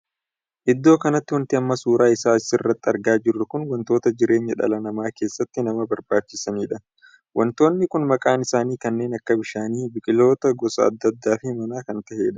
Iddoo kanatti wanti amma suuraa isaa as irratti argaa jirru kun wantoota jireenya dhala namaa keessatti nama barbaachisaniidha. wantoonni kun maqaan isaanii kanneen akka bishaanii biqiloota gosa addaa addaa fi mana kan tahedha.